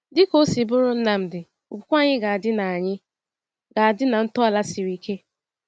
Dịka o si bụrụ Nnamdi, okwukwe anyị ga-adị na anyị ga-adị na ntọala siri ike.